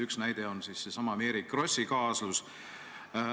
Üks on seesama Mary Krossi kaasus.